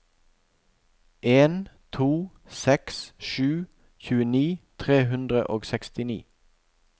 en to seks sju tjueni tre hundre og sekstini